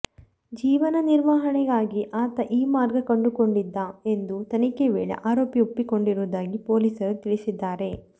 ಜೀವನ ನಿರ್ವಹಣೆ ಗಾಗಿ ಆತ ಈ ಮಾರ್ಗ ಕಂಡುಕೊಂಡಿದ್ದ ಎಂದು ತನಿಖೆ ವೇಳೆ ಆರೋಪಿ ಒಪ್ಪಿಕೊಂಡಿರುವುದಾಗಿ ಪೊಲೀಸರು ತಿಳಿಸಿದ್ದಾರೆ